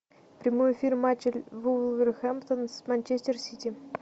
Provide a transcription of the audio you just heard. прямой эфир матча вулверхэмптон с манчестер сити